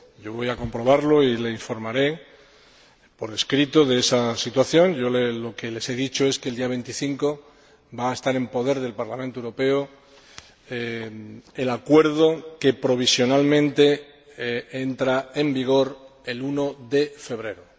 Voy a comprobarlo y le informaré por escrito de esa situación. Lo que les he dicho es que el día 25 de enero va a estar en poder del Parlamento Europeo el acuerdo que, provisionalmente, entra en vigor el 1 de febrero.